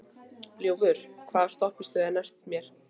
Ljúfur, hvaða stoppistöð er næst mér?